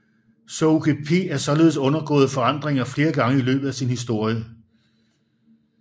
SUKP er således undergået forandringer flere gange i løbet af sin historie